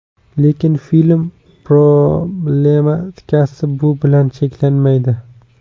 Lekin film problematikasi bu bilan cheklanmaydi.